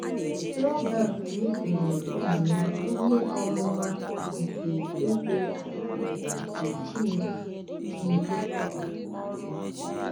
Robert nyefere ụmụ ya ihe ọmụma nke Eze-ala nke Chineke Chineke o natara.